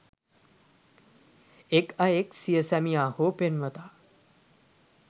එක් අයෙක් සිය සැමියා හෝ පෙම්වතා